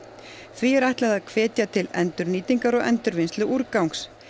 því er ætlað að hvetja til endurnýtingar og endurvinnslu úrgangs